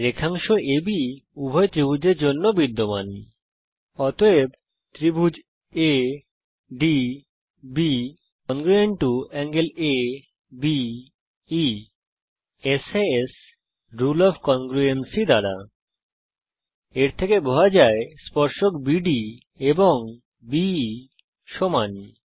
রেখাংশ আব উভয় ত্রিভুজের জন্য সমান অতএব সাস রুলে ওএফ কংগ্রুয়েন্সি দ্বারা △ADB ≅ △ABE এর থেকে বোঝা যায় যে স্পর্শক বিডি এবংBE সমান